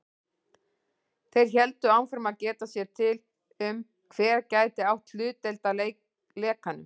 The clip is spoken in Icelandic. Þeir héldu áfram að geta sér til um, hver gæti átt hlutdeild að lekanum.